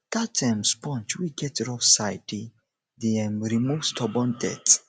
dat um sponge wey get rough side dey um remove stubborn dirt